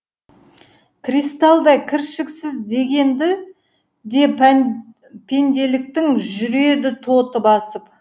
кристалдай кіршіксіз дегенді де пенделіктің жүреді тоты басып